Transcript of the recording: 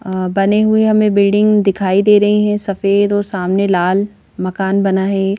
बने हुए हमें बिल्डिंग दिखाई दे रही हैं सफेद और सामने लाल मकान बना है।